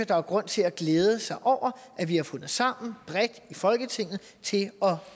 der er grund til at glæde sig over at vi har fundet sammen bredt i folketinget til at